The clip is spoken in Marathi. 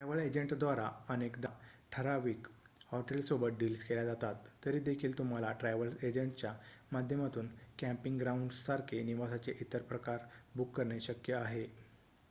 ट्रॅव्हल एजंटद्वारे अनेकदा ठराविक हॉटेल्ससोबत डिल्स केल्या जातात तरी देखील तुम्हाला ट्रॅव्हल एजंटच्या माध्यमातून कॅम्पिंग ग्राउंड्स सारखे निवासाचे इतर प्रकार बुक करणे शक्य आहे